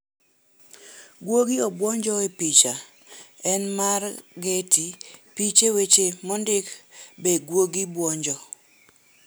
Guogi 'obwonjo' Picha en mar, Getty piche weche mondik Be guogi bwonjo?